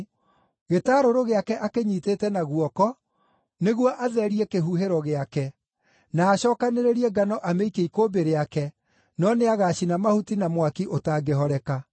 Gĩtarũrũ gĩake akĩnyiitĩte na guoko nĩguo atherie kĩhuhĩro gĩake, na acookanĩrĩrie ngano amĩikie ikũmbĩ rĩake, no nĩagacina mahuti na mwaki ũtangĩhoreka.”